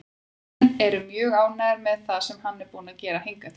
Menn eru mjög ánægðir með það sem hann er búinn að gera hingað til.